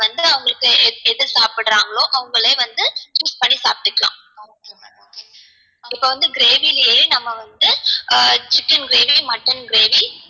வந்து அவங்களுக்கு எது சாப்டுராங்களோ அவங்களே வந்து choose பண்ணி சாப்ட்டுக்கலாம் இப்போ வந்து gravy லயே நம்ம வந்து chicken gravy mutton gravy